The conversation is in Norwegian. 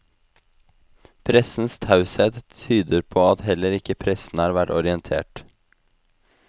Pressens taushet tyder på at heller ikke pressen har vært orientert.